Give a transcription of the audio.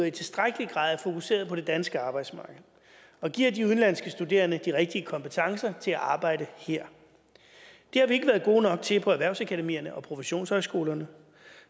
i tilstrækkelig grad er fokuseret på det danske arbejdsmarked og giver de udenlandske studerende de rigtige kompetencer til at arbejde her det har vi ikke været gode nok til på erhvervsakademierne og professionshøjskolerne